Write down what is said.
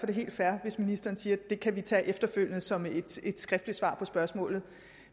det helt fair hvis ministeren siger at det kan vi tage efterfølgende som et skriftligt svar på spørgsmålet